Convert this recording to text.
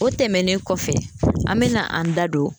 O tɛmɛnen kɔfɛ an mena an da don